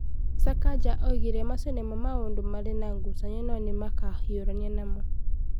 Sakaja oigire macio nĩmo maũndũ marĩ na ngucanio no nĩ makũhiũrania namo.